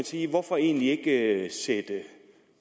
sige hvorfor egentlig ikke sætte